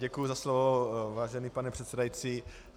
Děkuju za slovo, vážený pane předsedající.